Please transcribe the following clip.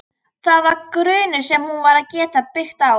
Það var grunnur sem hún varð að geta byggt á.